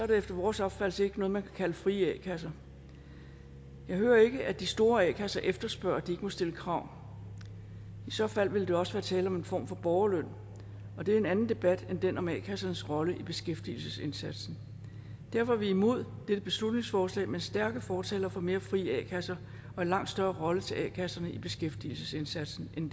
det efter vores opfattelse ikke noget man kan kalde frie a kasser jeg hører ikke at de store a kasser efterspørger at de må stille krav i så fald ville der også være tale om en form for borgerløn og det er en anden debat end den om a kassernes rolle i beskæftigelsesindsatsen derfor er vi imod dette beslutningsforslag men stærke fortalere for mere frie a kasser og en langt større rolle til a kasserne i beskæftigelsesindsatsen end